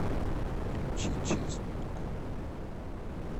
включи честного